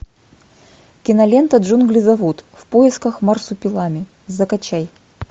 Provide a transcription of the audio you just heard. кинолента джунгли зовут в поисках марсупилами закачай